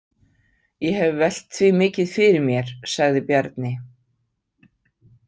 Ég hef velt því mikið fyrir mér, sagði Bjarni.